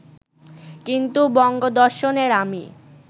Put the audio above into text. কিন্তু বঙ্গদর্শনের আমি